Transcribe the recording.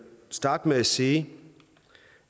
starte med at sige